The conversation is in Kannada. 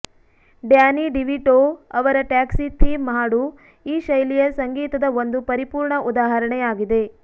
ಡ್ಯಾನಿ ಡಿವಿಟೋ ಅವರ ಟ್ಯಾಕ್ಸಿ ಥೀಮ್ ಹಾಡು ಈ ಶೈಲಿಯ ಸಂಗೀತದ ಒಂದು ಪರಿಪೂರ್ಣ ಉದಾಹರಣೆಯಾಗಿದೆ